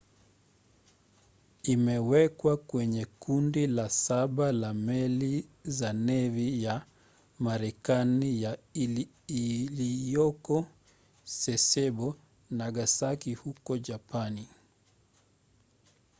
imewekwa kwenye kundi la saba la meli za nevi ya marekani ya iliyoko sasebo nagasaki huko japani